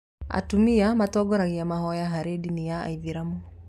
Atumia matitongoragia mahoya harĩ ndini ya aithĩramu.